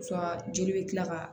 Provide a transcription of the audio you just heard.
joli bɛ tila ka